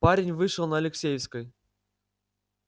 парень вышел на алексеевской